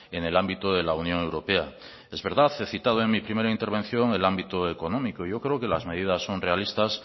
en el ámbito de la unión europea es verdad he citado en mi primera intervención el ámbito económico y yo creo que las medidas son realistas